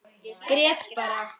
Grét bara.